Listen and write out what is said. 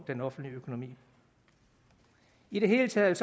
den offentlige økonomi i det hele taget